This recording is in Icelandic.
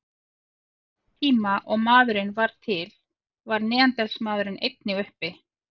Á sama tíma og maðurinn varð til var neanderdalsmaðurinn einnig uppi.